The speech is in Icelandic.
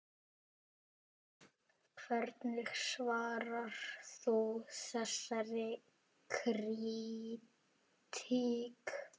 Hvernig svarar þú þessari krítík?